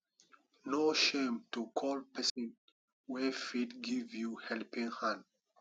no shame to call person wey fit give you helping hand